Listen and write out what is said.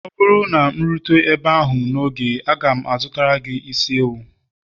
ọ bụrụ na m rutere ebe ahụ n'oge, aga m azụtara gị isi ewu